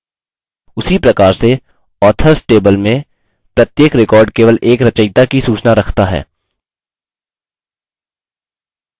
उसी प्रकार से authors table में प्रत्येक record केवल एक रचयिता की सूचना रखता है